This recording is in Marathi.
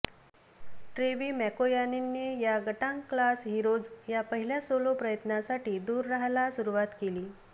ट्रेवी मॅकोयॉयेने या गटांग क्लास हीरोज या पहिल्या सोलो प्रयत्नासाठी दूर राहायला सुरुवात केली